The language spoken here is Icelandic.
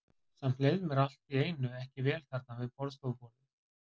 Samt leið mér allt í einu ekki vel þarna við borðstofuborðið.